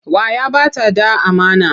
Wa ya ba ta ɗa amana?